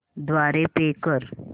द्वारे पे कर